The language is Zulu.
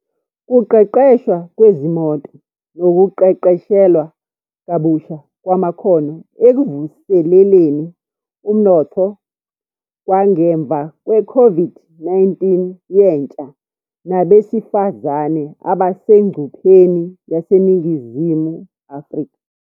kuqeqeshwa Kwezimoto Nokuqeqeshelwa Kabusha Kwamakhono Ekuvuseleleni Umnotfo Kwangemva Kwe-COVID-19 Yentsha Nabesifazane Abasengcupheni YaseNingizimu Afrika